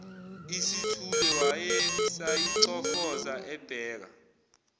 isithule wayesayicofoza ebheka